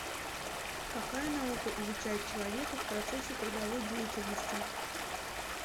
какая наука изучает человека в процессе трудовой деятельности